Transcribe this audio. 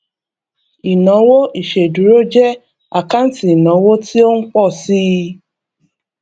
ìnáwó ìṣèdúró jẹ àkáǹtì ìnáwó tí ó ń pọ síi